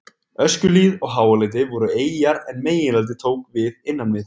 Öskjuhlíð og Háaleiti voru eyjar en meginlandið tók við innan við